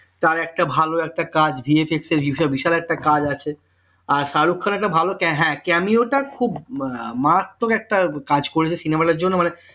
তার একটা ভালো একটা কাজ দিয়েছে বিশাল একটা কাজ আছে আর বিশাল একটা কাজ আছে আর শাহরুখ খান একটা ভালো একটা হ্যাঁ can you টা খুব মারাত্মক একটা মারাত্মক একটা কাজ করেছে cinema টার জন্য মানে